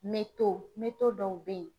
dɔw bɛ ye.